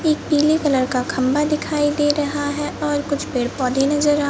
एक पीले कलर का खम्बा दिखाई दे रहा है और कुछ पेड़ पौधे नजर आ--